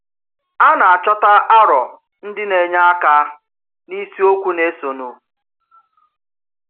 À nà-achọta àrọ̀ ndì n’ènye àka n’ìsìokwu nà-èsònú.